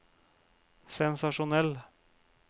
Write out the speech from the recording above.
sensasjonell